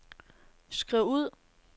skriv ud